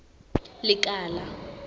lekala